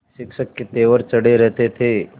शिक्षक के तेवर चढ़े रहते थे